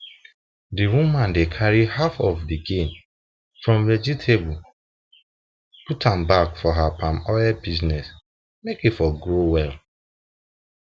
the woman dey carry half of the gain from vegetable put back for her palm oil business make e for grow well